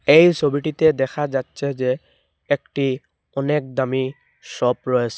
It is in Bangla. এই ছবিটিতে দেখা যাচ্ছে যে একটি অনেক দামি শপ রয়ে--